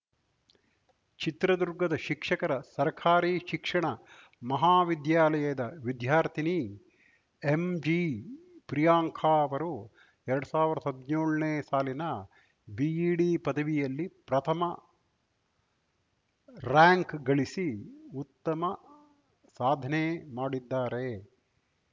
ಚಿತ್ರದುರ್ಗದ ಶಿಕ್ಷಕರ ಸರ್ಕಾರಿ ಶಿಕ್ಷಣ ಮಹಾವಿದ್ಯಾಲಯದ ವಿದ್ಯಾರ್ಥಿನಿ ಎಂಜಿಪ್ರಿಯಾಂಕಾ ಅವರು ಎರಡ್ ಸಾವಿರ್ದಾ ಹದ್ನ್ಯೋಳ್ನೇ ಸಾಲಿನ ಬಿಇಡಿ ಪದವಿಯಲ್ಲಿ ಪ್ರಥಮ ರಾರ‍ಯಂಕ್‌ಗಳಿಸಿ ಉತ್ತಮ ಸಾಧನೆ ಮಾಡಿದ್ದಾರೆ